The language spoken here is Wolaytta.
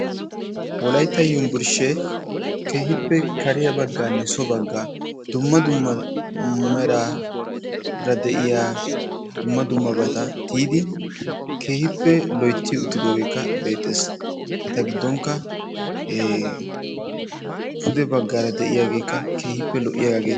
Wolayitta umburshshee keehippe kariyaa baggaanne so baggaa dumma dumma meraara de"iya dumma dummabata tiyidi keehippe loyitti uttidoogeekka beetes. Eta giddonkka pude baggaara de"aayaageekka keehippe lo"iyaagaa gides.